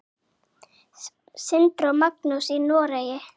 Sindri og Magnús í Noregi.